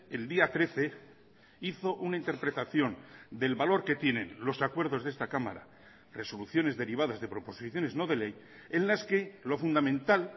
el día trece hizo una interpretación del valor que tienen los acuerdos de esta cámara resoluciones derivadas de proposiciones no de ley en las que lo fundamental